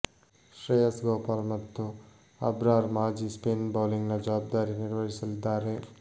ಶ್ರೇಯಸ್ ಗೋಪಾಲ್ ಮತ್ತು ಅಬ್ರಾರ್ ಖಾಜಿ ಸ್ಪಿನ್ ಬೌಲಿಂಗ್ನ ಜವಾಬ್ದಾರಿ ನಿರ್ವಹಿಸಲಿದ್ದಾರೆ